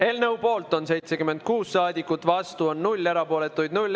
Eelnõu poolt on 76 saadikut, vastuolijaid on 0, erapooletuid on 0.